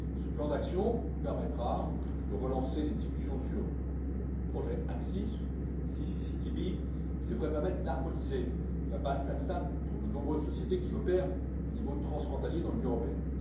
Ce plan d'action permettra de relancer les discussions sur le projet ACCIS qui devrait permettre d'harmoniser la base taxable pour de nombreuses sociétés qui opèrent au niveau transfrontalier dans l'Union européenne.